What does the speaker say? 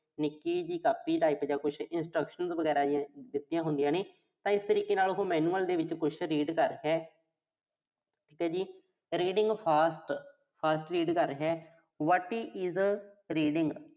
ਨਿੱਕੀ ਜੀ copy type ਦਾ ਕੁਸ਼ instructions ਵਗੈਰਾ, ਜੋ ਦਿੱਤੀਆਂ ਹੁੰਦੀਆਂ ਨੇ। ਤਾਂ ਇਸ ਤਰੀਕੇ ਦੇ ਨਾਲ ਉਹੋ manual ਦੇ ਵਿੱਚ ਕੁਸ਼, read ਕਰ ਰਿਹਾ। ਠੀਕ ਆ ਜੀ। reading fast, fast read ਕਰ ਰਿਹਾ what is reainh